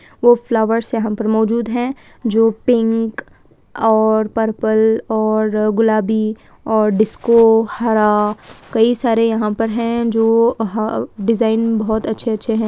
वो फ्लावर यहाँ पर मौजूद हैं जो पिंक और पर्पल और गुलाबी और डिस्को हरा कई सारे यहाँ पर है जो ह डिजाइन बहुत अच्छे अच्छी है।